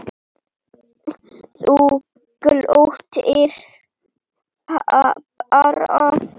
Þú glottir bara!